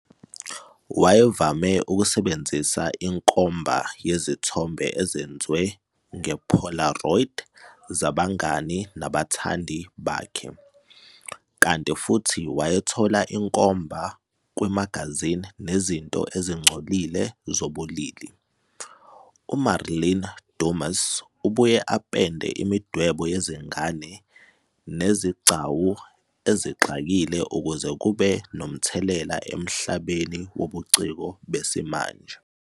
Wayevame ukusebenzisa inkomba yezithombe ezenzwe nge polaroid zabangani nabathandi bakhe, kanti futhi wayethola inkomba kwimagazini nezinto ezingcolile zobulili. UMarlene Dumas ubuye apende imidwebo yezingane nezigcawu ezixakile ukuze kube nomthelela emhlabeni wobuciko besimanje.